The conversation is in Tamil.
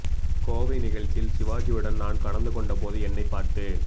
கோவை நிகழ்ச்சியில் சிவாஜியுடன் நான் கலந்து கொண்ட போது என்னை பார்த்து